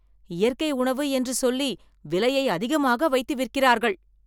இயற்கை உணவு என்று சொல்லி விலையை அதிகமாக வைத்து விற்கிறார்கள்.